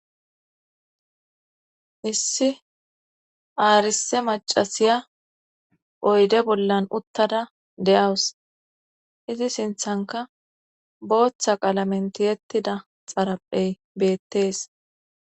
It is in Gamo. Issi aarise macasiya oyde bollan uttada de'awus izi sinthanka booththa qalamentiyettida xaraphey beettees.